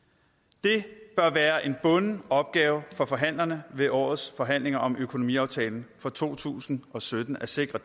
det bør være en bunden opgave for forhandlerne ved årets forhandlinger om økonomiaftalen for to tusind og sytten at sikre